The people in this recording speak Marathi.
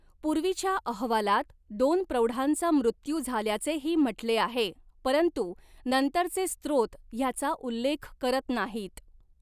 पूर्वीच्या अहवालात दोन प्रौढांचा मृत्यू झाल्याचेही म्हटले आहे, परंतु नंतरचे स्त्रोत ह्याचा उल्लेख करत नाहीत.